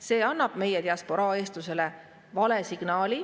See annab meie diasporaa eestlastele vale signaali.